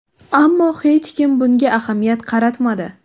Ammo hech kim bunga ahamiyat qaratmadi.